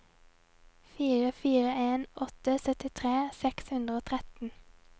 fire fire en åtte syttitre seks hundre og tretten